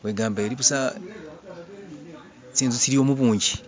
kwegamba elibutsa, tsinzu tsiliwo mubungi